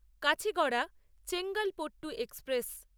Kacheguda Chengalpattu express